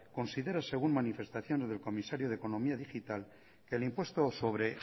considera según manifestaciones del comisario de economía digital que el impuesto sobre